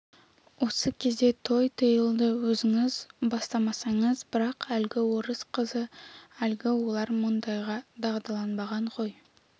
осы кезде той тыйылды өзіңіз бастамасаңыз бірақ әлгі орыс қызы әлгі олар мұндайға дағдыланбаған ғой